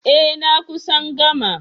Eh. na kusan gama